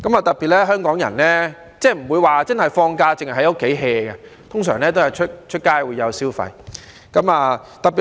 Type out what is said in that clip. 特別是香港人，放假不會只會待在家裏 "hea"， 通常都會上街消費。